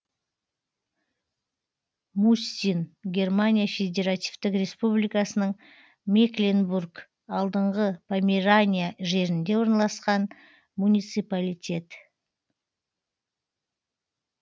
мустин германия федеративтік республикасының мекленбург алдыңғы померания жерінде орналасқан муниципалитет